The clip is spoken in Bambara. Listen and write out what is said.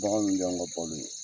Bagan ninnu de y'an ka balo ye.